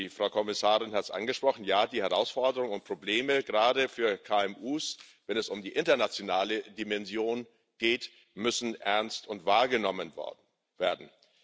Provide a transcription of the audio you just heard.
Die Frau Kommissarin hat es angesprochen Ja, die Herausforderungen und Probleme gerade für KMU, wenn es um die internationale Dimension geht, müssen ernst und wahrgenommen werden.